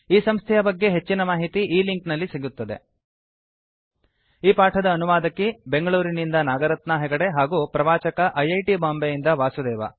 ಈ ಸಂಸ್ಥೆಯ ಬಗ್ಗೆ ಹೆಚ್ಚಿನ ಮಾಹಿತಿ ಈ ಲಿಂಕ್ ನಲ್ಲಿ ಸಿಗುತ್ತದೆ httpspoken tutorialorgNMEICT Intro ಈ ಪಾಠದ ಅನುವಾದಕಿ ಬೆಂಗಳೂರಿನಿಂದ ನಾಗರತ್ನಾ ಹೆಗಡೆ ಹಾಗೂ ಪ್ರವಾಚಕ ಐಐಟಿ ಬಾಂಬೆಯಿಂದ ವಾಸುದೇವ